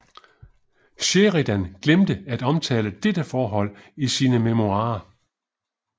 Sheridan glemte at omtale dette forhold i sine memoirer